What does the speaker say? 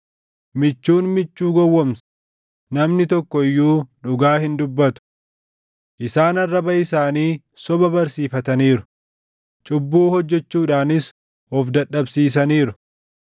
Michuun michuu gowwoomsa; namni tokko iyyuu dhugaa hin dubbatu. Isaan arraba isaanii soba barsiifataniiru; cubbuu hojjechuudhaanis of dadhabsiisaniiru.